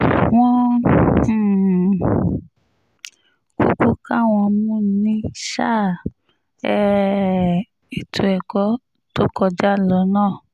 wọ́n um kúkú ká wọn mú ní sáà um ètò ẹ̀kọ́ tó kọjá lọ náà